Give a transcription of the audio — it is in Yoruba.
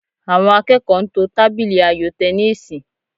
Àwọn akẹ́kọ̀ọ́ ń to tábìlì ayò tẹníìsì